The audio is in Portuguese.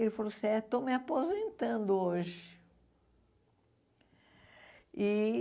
Ele falou assim, eh estou me aposentando hoje. E